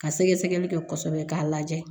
Ka sɛgɛsɛgɛli kɛ kosɛbɛ k'a lajɛ